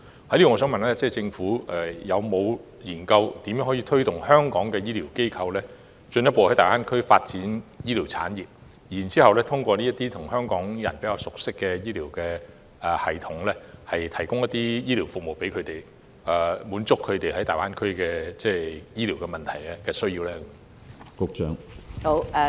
就此，我想問政府有否研究如何協助香港的醫療機構進一步在大灣區發展醫療產業，然後通過這些香港人比較熟悉的醫療系統，向港人提供醫療服務，以回應他們在大灣區面對的醫療問題及需要？